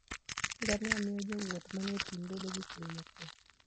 ngamia miyo jowuoth manie thim bedo gi chuny mokuwe.